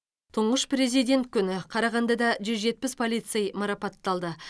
тұңғыш президент күні қарағандыда жүз жетпіс полицей марапатталды